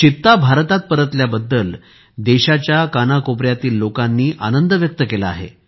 चित्ता भारतात परतल्याबद्दल देशाच्या कानाकोपऱ्यातील लोकांनी आनंद व्यक्त केला आहे